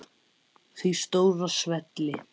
Því stóra svelli.